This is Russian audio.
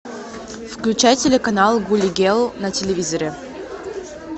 включай телеканал гули гел на телевизоре